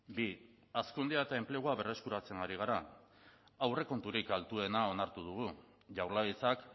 bi hazkundea eta enplegua berreskuratzen ari gara aurrekonturik altuena onartu dugu jaurlaritzak